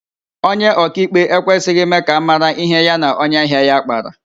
Onye ọkaikpe ekwesịghị ime ka ámárá ihe ya na onye ahịa ya kpara